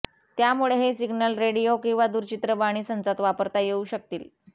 त्यामुळे हे signal radio किंवा दूरचित्रवाणी संचात वापरता येऊ शकतील